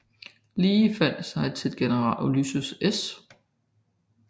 Lee sig til general Ulysses S